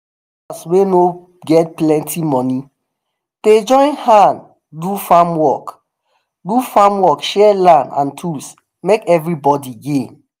farmers wey no get plenty money dey join hand do farm work do farm work share land and tools make everybody gain.